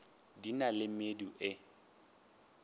di na le medu e